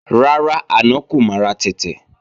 Rárá, àná kọ́ mo ra tẹ̀tẹ̀